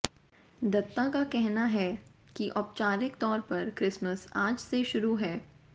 दत्ता का कहना है कि औपचारिक तौर पर क्रिसमस आज से शुरू है